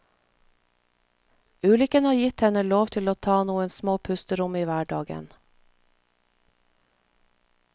Ulykken har gitt henne lov til å ta noen små pusterom i hverdagen.